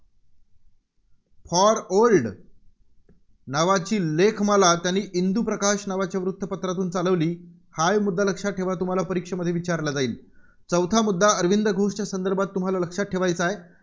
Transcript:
For old नावाची लेखमाला त्यांनी इंदूप्रकाश नावाच्या वृत्तपत्रातून चालवली. हाही मुद्दा लक्षात ठेवा, तुम्हाला परीक्षेत विचारला जाईल. चौथा मुद्दा अरविंद घोषच्या संदर्भात तुम्हाला लक्षात ठेवायचा आहे